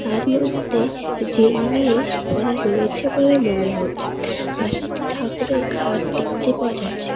এর মধ্যে জিনিস ভরা রয়েছে বলে মনে হচ্ছে পাশে একটি ঠাকুরের খাট দেখতে পাওয়া যাচ্ছে।